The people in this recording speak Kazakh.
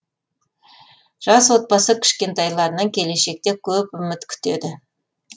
жас отбасы кішкентайларынан келешекте көп үміт күтеді